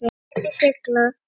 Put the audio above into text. Skipin sigla.